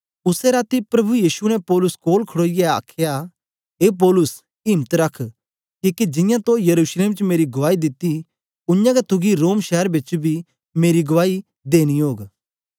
उसै राती प्रभु यीशु ने पौलुस कोल खड़ोईयै आखया ए पौलुस इम्त रख किके जियां तो यरूशलेम च मेरी गुआई दिती उयांगै तुगी रोम शैर बेच बी मेरी गुआई देनी ओग